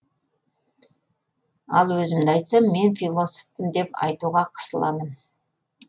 ал өзімді айтсам мен философпын деп айтуға қысыламын